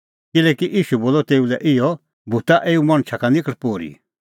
किल्हैकि ईशू बोलअ तेऊ लै इहअ भूता एऊ मणछा का निखल़ पोर्ही